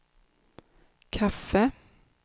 kaffe